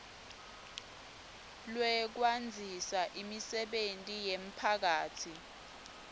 lwekwandzisa imisebenti yemphakatsi